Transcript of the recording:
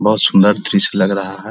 दृश्य लग रहा है ।